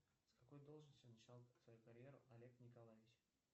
с какой должности начинал свою карьеру олег николаевич